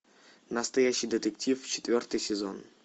настоящий детектив четвертый сезон